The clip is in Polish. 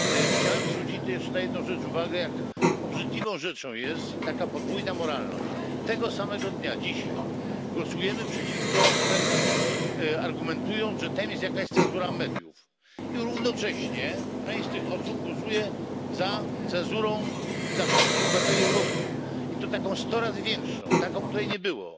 Chciałem jeszcze zwrócić uwagę na jedną rzecz jak obrzydliwą rzeczą jest taka podwójna moralność. Tego samego dnia, dzisiaj, głosujemy przeciwko Węgrom, argumentując, że tam jest jakaś cenzura mediów, i równocześnie część z tych osób głosuje za cenzurą dla wszystkich obywateli Europy i to taką sto razy większą, taką, której nie było.